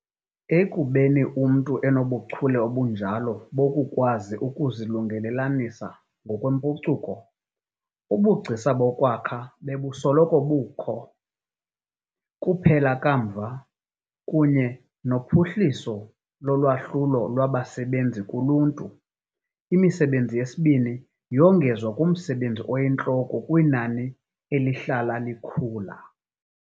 Ekubeni umntu enobuchule obunjalo bokukwazi ukuzilungelelanisa ngokwempucuko, ubugcisa bokwakha bebusoloko bukho. Kuphela kamva, kunye nophuhliso lolwahlulo lwabasebenzi kuluntu, imisebenzi yesibini yongezwa kumsebenzi oyintloko kwinani elihlala likhula.